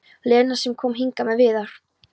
Lena sem kom hingað með Viðar?